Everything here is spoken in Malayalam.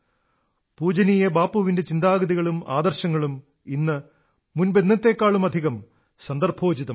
പൂജനീയ ബാപ്പുവിന്റെ ചിന്താഗതികളും ആദർശങ്ങളും ഇന്ന് മുമ്പത്തേക്കാളധികം സന്ദർഭോചിതമാണ്